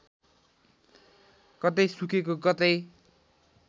कतै सुकेको कतै